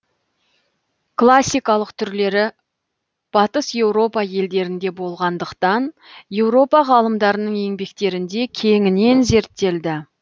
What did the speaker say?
классикалық түрлері батыс еуропа елдерінде болғандықтан еуропа ғалымдардың еңбектерінде кеңінен зерттелді